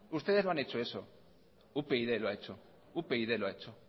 ustedes no han hecho eso upyd lo ha hecho upyd lo ha hecho